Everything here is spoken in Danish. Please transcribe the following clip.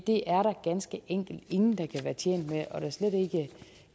det er der ganske enkelt ingen der kan være tjent med og da slet